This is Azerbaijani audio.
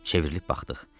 Çevrilib baxdıq.